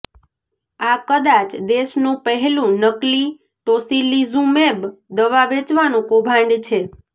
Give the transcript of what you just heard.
આ કદાચ દેશનું પહેલું નકલી ટોસિલિઝુમેબ દવા વેચવાનું કૌભાંડ છે